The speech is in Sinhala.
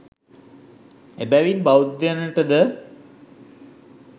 එබැවින් බෞද්ධයනට ද